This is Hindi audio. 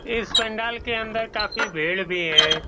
इस पंडाल के अंदर काफी भीड़ भी है।